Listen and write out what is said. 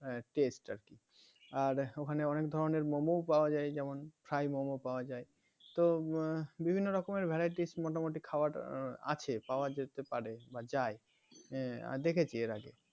test আর কি আর ওখানে অনেক ধরনের মোমোও পাওয়া যায় যেমন fry মোমো পাওয়া যায় তো বিভিন্ন রকমের variety মোটামুটি খাবার আছে পাওয়া যেতে পারে যায় দেখেছি এর আগে